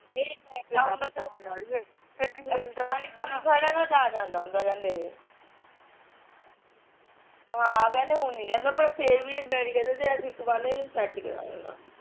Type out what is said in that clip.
ਪਾਣੀ ਪੂਣੀ ਖੜਦਾ ਨਾ ਤਾਂ ਜਾਂਦਾ ਹੁੰਦਾ ਏਹ ਹਾਂ ਕਹਿੰਦੇ ਹੁਣ ਨੀ ਜਾਂਦਾ ਵੈਸੇ ਫੇਰ ਵੀ ਡੈਡੀ ਕਹਿੰਦੇ ਤੇ ਅਸੀਂ ਇੱਕ ਵਾਰ ਏਹਨੂੰ set ਕਰਾ ਲੈਨਾ